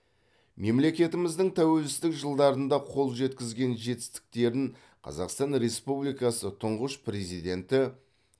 мемлекетіміздің тәуелсіздік жылдарында қол жеткізген жетістіктерін қазақстан республикасы тұңғыш президенті